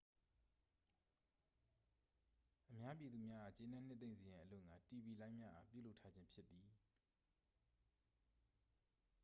အများပြည်သူများအား ကျေနှပ်နှစ်သိမ့်စေရန်အလို့ဌာ တီဗီလိုင်းများအား ပြုလုပ်ထားခြင်း ဖြစ်သည်